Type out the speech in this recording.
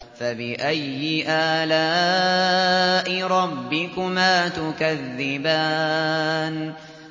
فَبِأَيِّ آلَاءِ رَبِّكُمَا تُكَذِّبَانِ